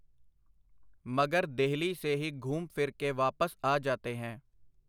ਮਗਰ ਦੇਹਲੀ ਸੇ ਹੀ ਘੂਮ ਫਿਰ ਕੇ ਵਾਪਸ ਆ ਜਾਤੇ ਹੈਂ.